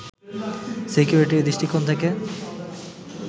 সিকিউরিটির দৃষ্টিকোণ থেকে